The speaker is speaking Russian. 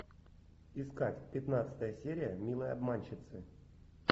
искать пятнадцатая серия милые обманщицы